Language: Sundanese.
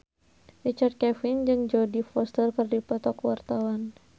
Richard Kevin jeung Jodie Foster keur dipoto ku wartawan